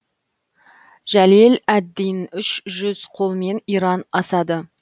жалел әд дин үш жүз қолмен иран асады